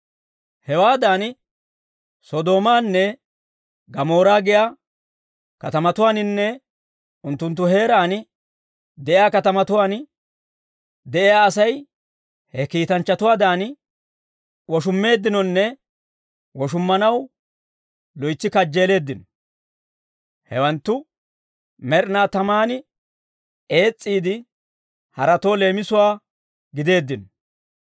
Hewaadan Sodoomaanne Gamoora giyaa katamatuwaaninne unttunttu heeraan de'iyaa katamatuwaan de'iyaa Asay he kiitanchchatuwaadan woshummeeddinonne woshummanaw loytsi kajjeeleeddino; hewanttu med'inaa tamaan ees's'iide, haratoo leemisuwaa gideeddino.